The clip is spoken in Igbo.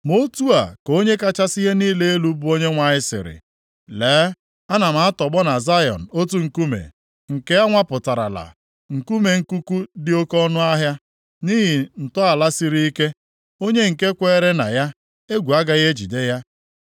Ma otu a ka Onye kachasị ihe niile elu, bụ Onyenwe anyị sịrị, “Lee, ana m atọgbọ na Zayọn otu nkume, nke anwapụtarala. Nkume nkuku dị oke ọnụahịa, nʼihi ntọala siri ike. + 28:16 Onye ọbụla na-ewukwasị ndụ ya nʼelu ya agaghị enwe ihe egwu ọbụla; Onye nke kweere na ya egwu agaghị ejide ya. + 28:16 Agaghị eme ọsịịsọ laghachi azụ.